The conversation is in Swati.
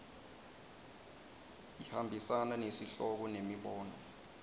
ihambisana nesihloko nemibono